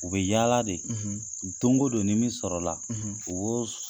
U bɛ yaala de don o don ni min sɔrɔ la u b'o susu.